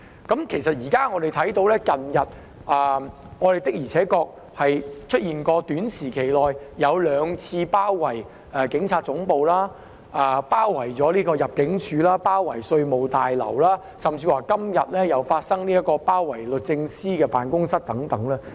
我們現在可以見到，近日的確在短期內出現了兩次包圍警察總部、入境事務大樓、稅務大樓的情況，甚至今天有人發起包圍律政司辦公室等。